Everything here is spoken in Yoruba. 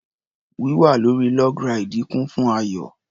Wíwà lórí log ráìdì kún fún ayọ̀.